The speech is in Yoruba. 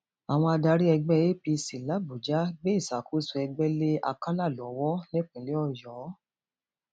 àwọn adarí ẹgbẹ apc làbàjá gbé ìṣàkóso ẹgbẹ lé àkàlà lọwọ nípínlẹ ọyọ